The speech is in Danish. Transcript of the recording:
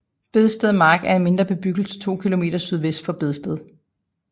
Bedsted Mark er en mindre bebyggelse 2 kilometer sydvest for Bedsted